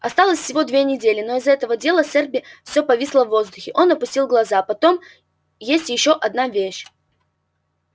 осталось всего две недели но из-за этого дела с эрби все повисло в воздухе он опустил глаза потом есть ещё одна вещь